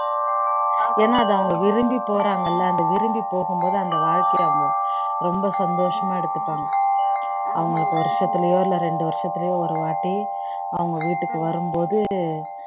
ஏன்னா அதை விரும்பி போறாங்க இல்ல அந்த விரும்பி போகும்போது அந்த வாழ்க்கையை அவங்க ரொம்ப சந்தோசமா எடுத்துப்பாங்க அவங்களுக்கு ஒரு வருசத்துலையோ இரண்டு வருசத்துலையோ ஒருவாட்டி அவங்க வீட்டுக்கு வரும்போது